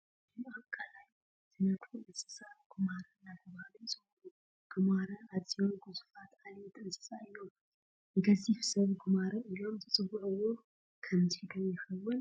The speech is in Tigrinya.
እዞም ኣብ ቀላይ ዝነብሩ እንስሳ ጉማረ እናተባህሉ ይፅውዑ፡፡ ጉማረ ኣዝዮም ግዙፋት ዓሌት እንስሳት እዮም፡፡ ንገዚፍ ሰብ ጉማረ ኢሎም ዝፅውዕዎ ስለዚ ዶ ይኸውን?